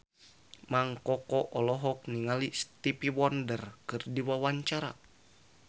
Mang Koko olohok ningali Stevie Wonder keur diwawancara